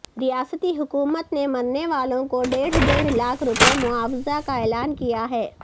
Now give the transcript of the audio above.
ریاستی حکومت نے مرنے والوں کو ڈیڑھ ڈیڑھ لاکھ روپے معاوضہ کا اعلان کیا ہے